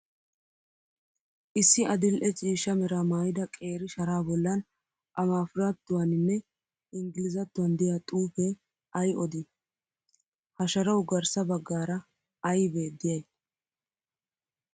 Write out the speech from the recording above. Issi adil'e ciishsha meraa maayyida qeeri sharaa bollan amaafrattuwaaninne inggilzzattuwan diyaa xuupee ayi odii? Ha sharawu garssa baggaara ayibee diyayi?